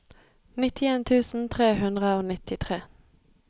nittien tusen tre hundre og nittitre